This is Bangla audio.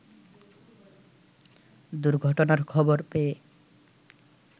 দুর্ঘটনার খবর পেয়ে